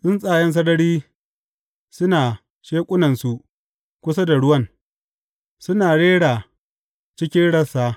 Tsuntsaye sarari suna sheƙunansu kusa da ruwan; suna rera cikin rassa.